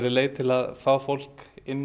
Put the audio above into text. leið til að fá fólk inn